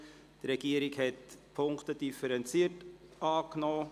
Die Regierung hat die Punkte differenziert angenommen.